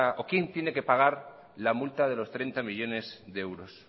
o quién tiene que pagar la multa de los treinta millónes de euros